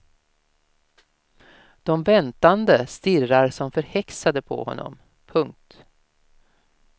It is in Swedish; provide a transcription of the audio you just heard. De väntande stirrar som förhäxade på honom. punkt